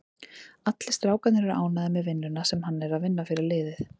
Allir strákarnir eru ánægður með vinnuna sem hann er að vinna fyrir liðið.